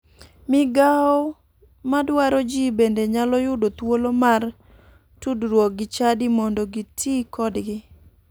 Migao madwaro ji bende nyalo yudo thuolo mar tudruok gi chadi mondo giti kodgi